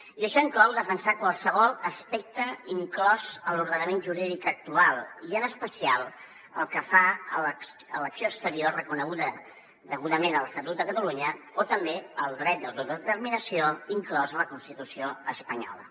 i això inclou defensar qualsevol aspecte inclòs a l’ordenament jurídic actual i en especial pel que fa a l’acció exterior reconeguda degudament a l’estatut de catalunya o també al dret d’autodeterminació inclòs a la constitució espanyola